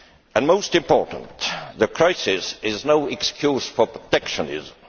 And, most importantly, the crisis is no excuse for protectionism.